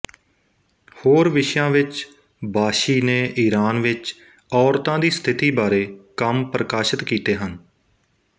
ਹੋਰ ਵਿਸ਼ਿਆਂ ਵਿੱਚ ਬਾਸ਼ੀ ਨੇ ਈਰਾਨ ਵਿੱਚ ਔਰਤਾਂ ਦੀ ਸਥਿਤੀ ਬਾਰੇ ਕੰਮ ਪ੍ਰਕਾਸ਼ਿਤ ਕੀਤੇ ਹਨ